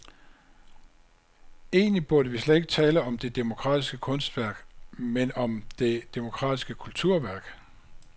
Egentlig burde vi slet ikke tale om det demokratiske kunstværk, men om det demokratiske kulturværk.